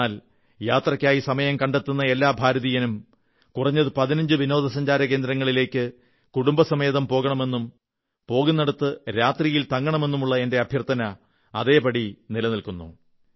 എന്നാൽ യാത്രയ്ക്കായി സമയം കണ്ടെത്തുന്ന എല്ലാ ഭാരതീയനും കുറഞ്ഞത് 15 വിനോദസഞ്ചാരകേന്ദ്രങ്ങളിലേക്ക് കുടുംബസമേതം പോകണമെന്നും പോകുന്നിടത്ത് രാത്രിയിൽ തങ്ങണമെന്നുമുള്ള എന്റെ അഭ്യർഥന അതേപടി നിലനിൽക്കുന്നു